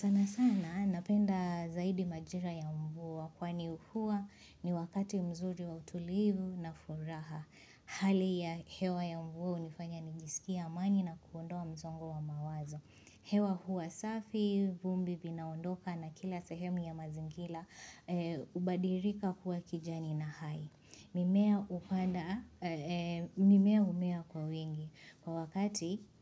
Sana sana napenda zaidi majira ya mvua, kwani mvua ni wakati mzuri wa utulivu na furaha. Hali ya hewa ya mvua hunifanya nijisikie amani na kuondoa mzongo wa mawazo. Hewa hua safi, vumbi vinaondoka na kila sehemu ya mazingira hubadilika kuwa kijani na hai. Mimea humea kwa wingi kwa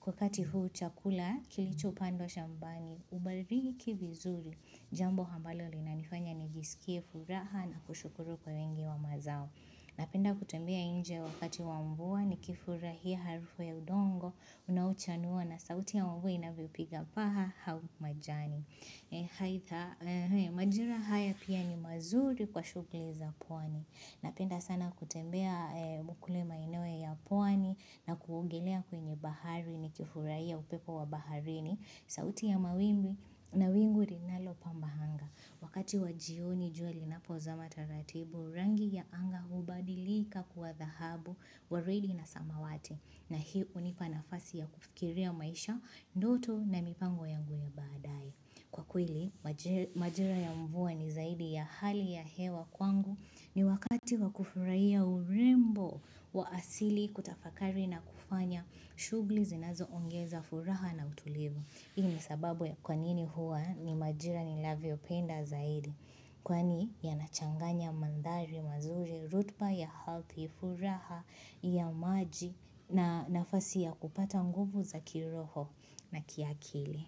wakati huu chakula kilichopandwa shambani hubariki vizuri Jambo ambalo linanifanya nijisikie furaha na kushukuru kwa wingi wa mazao Napenda kutembea nje wakati wa mvua nikifurahia harufu ya udongo Unaochanua na sauti ya mvua inavyopiga paa au majani Majira haya pia ni mazuri kwa shughuli za pwani Napenda sana kutembea kule maeneo ya pwani na kuogelea kwenye bahari nikifurahia upepo wa baharini, sauti ya mawimbi na wingu linalo pamba anga. Wakati wa jioni jua linapozama taratibu, rangi ya anga hubadilika kuwa dhahabu, waridi na samawati. Na hii hunipa nafasi ya kufikiria maisha, ndoto na mipango yangu ya badaye. Kwa kweli, majira ya mvua ni zaidi ya hali ya hewa kwangu ni wakati wa kufurahia urembo wa asili kutafakari na kufanya shughuli zinazoongeza furaha na utulivu. Hii ni sababu ya kwa nini huwa ni majira ninavyopenda zaidi. Kwani yanachanganya mandhari mazuri, rotuba ya ardhi, furaha ya maji na nafasi ya kupata nguvu za kiroho na kiakili.